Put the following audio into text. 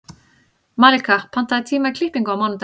Malika, pantaðu tíma í klippingu á mánudaginn.